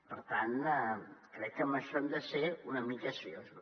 per tant crec que amb això hem de ser una mica seriosos